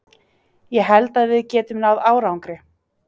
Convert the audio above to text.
Ég held að við getum náð árangri.